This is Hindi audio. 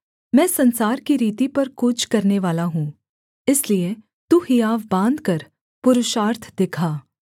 मैं संसार की रीति पर कूच करनेवाला हूँ इसलिए तू हियाव बाँधकर पुरुषार्थ दिखा